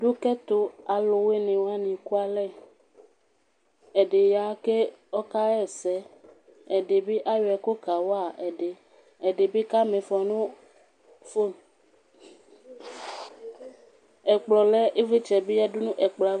Dʊ ƙɛtʊ aluwani éƙʊalɛ, ɛɖi ƙaha ɛsɛ , ɛɖɩ ɓɩ aƴɔ ɛƙʊ ƙawa ɛɖɩ, ɛɖɩ ɓɩ ƙaha ɛƙʊ nʊ ƒoŋ Ɛƙplɔ lɛ ɩʋlɩtsɛ bɩ ƴa ɛkplɔ aʋa